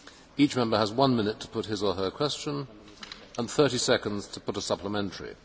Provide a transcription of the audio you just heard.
Each Member has one minute to put his or her question and 30 seconds to put a supplementary.